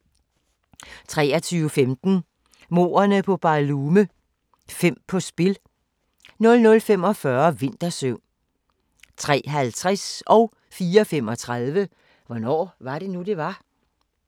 23:15: Mordene på BarLume - fem på spil 00:45: Vintersøvn 03:50: Hvornår var det nu, det var? 04:35: Hvornår var det nu, det var?